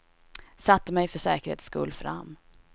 Satte mig för säkerhets skull fram.